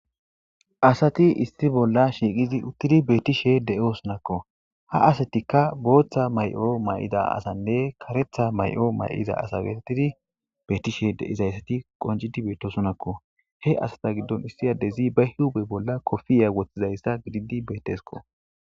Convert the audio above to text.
Asati issi bolla shiiqidi utid de'osonako. Ha satika bootha mayo mayid asanne karetha mayo mayida asa getetidi betiza asati qoncidi beetishe , he asata giddoni issi adezi ba huphe bolla kofiya wothidaysa gidid beetesko.